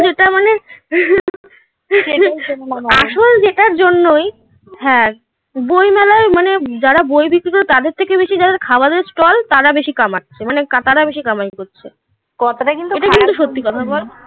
আসল যেটার জন্যই হ্যাঁ বইমেলায় মানে যারা বই বিক্রি করে তাদের থেকে বেশি যারা খাবারের স্টল তারা বেশি কামাচ্ছে. মানে তারা বেশি কামাই করছে. ওটা কিন্তু সত্যি কথা বল